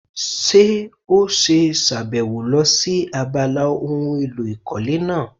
Ṣé ó ṣe sàbẹ̀wò lọ sí abala ohun èlò ìkọ́lé náà?